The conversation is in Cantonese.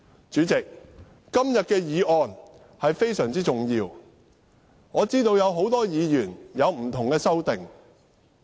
主席，今天的議案非常重要，我知道很多議員提出不同的修正案。